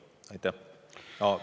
Aitäh!